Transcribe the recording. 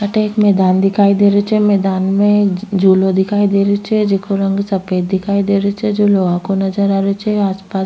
अठे एक मैदान दिखाई दे रो छे मैदान में झूलो दिखाई दे रो छे जेको रंग सफ़ेद दिखाई दे रो छे जो लोहा को नजर आ रो छे आसपास --